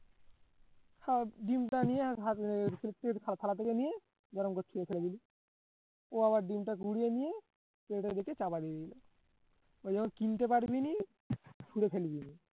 হ্যাঁ ডিমটা নিয়ে থালা থেকে নিয়ে গরম করছি ও আবার ডিমটা গুড়িয়ে নিয়ে এটার দিকে আমি যখন কিনতে ফেলে দিল